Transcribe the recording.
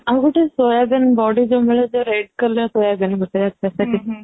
ହଁ ଆଉ ଗୋଟେ soybean ବଡି ଯାଉ ମିଳେ red color soybean ସେଇଟା ବି ବହୁତ ଭଲ ନରମ